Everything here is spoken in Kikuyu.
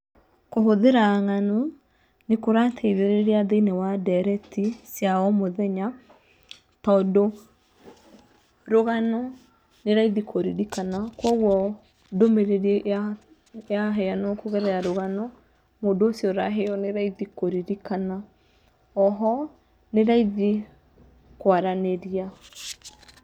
Kũhũthĩra ng'ano nĩ kũrateithĩrĩria thĩ~inĩ wa ndereti cia o mũthenya tondũ rũgano nĩ raithĩ kũririkana. Kogwo ndũmĩrĩri yaheanwo kugerera rugano mũndũ ũcio ũraheo nĩ raithi kũririkana. Oho nĩ raithi kwaranĩria.